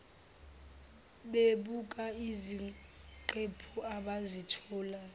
bebuka iziqephu abazitholayo